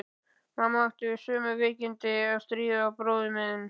Mamma átti við sömu veikindi að stríða og bróðir þinn.